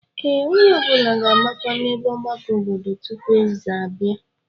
Ee, onye ọbụla ga-agbakọ n'ebe ọgbakọ obodo tupu eze abịa.